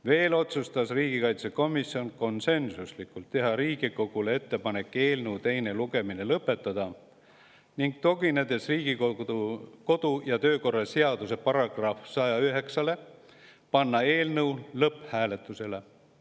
Veel otsustas riigikaitsekomisjon konsensuslikult teha Riigikogule ettepaneku eelnõu teine lugemine lõpetada, ning tuginedes Riigikogu kodu- ja töökorra seaduse §‑le 109, panna eelnõu lõpphääletusele.